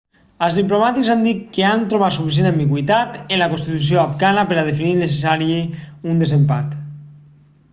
els diplomàtics han dit que han trobat suficient ambigüitat en la constitució afgana per a definir innecessari un desempat